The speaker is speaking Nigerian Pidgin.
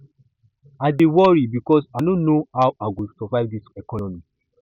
i dey worry because i no know how i go survive for dis economy